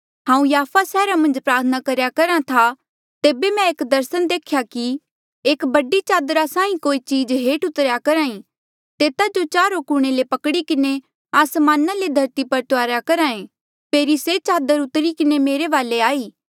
हांऊँ याफा सैहरा मन्झ प्रार्थना करेया करहा था तेबे मै एक दर्सन देख्या कि एक बडी चादरा साहीं कोई चीज हेठ उतरेया करहा ई तेता जो चारो कुणे ले पकड़ी किन्हें आसमाना ले धरती पर तुआरेया करहा ऐें फेरी से चादर उतरी किन्हें मेरे वाले आई